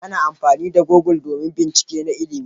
Ana amfani da google domin bincike na ilimi.